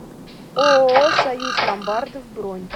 ооо союз ломбардов бронь